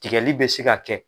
Tigɛli bɛ se ka kɛ